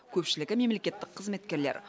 көпшілігі мемлекеттік қызметкерлер